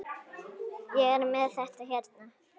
Ég er með þetta hérna.